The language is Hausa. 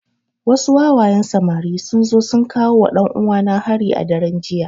Wasu wawayen samari sun zo sun kawowa ɗan uwana hari a daren jiya